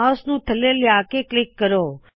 mouse ਨੂੰ ਥੱਲੇ ਲਿਆਹ ਕੇ ਕਲਿੱਕ ਕਰੋ